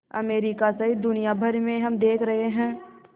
America सहित दुनिया भर में हम देख रहे हैं